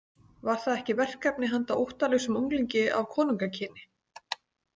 Var það ekki verkefni handa óttalausum unglingi af konungakyni?